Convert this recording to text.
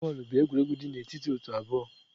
Bọọlụ bụ egwuregwu dị n'etiti otu abụọ.